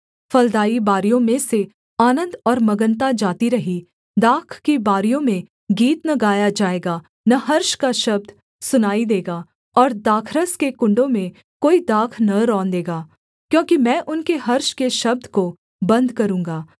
फलदाई बारियों में से आनन्द और मगनता जाती रही दाख की बारियों में गीत न गाया जाएगा न हर्ष का शब्द सुनाई देगा और दाखरस के कुण्डों में कोई दाख न रौंदेगा क्योंकि मैं उनके हर्ष के शब्द को बन्द करूँगा